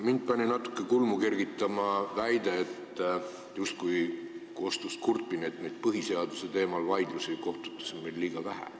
Mind pani natuke kulmu kergitama see, et justkui kostis kurtmine, et põhiseaduse teemal vaidlusi on kohtutes liiga vähe.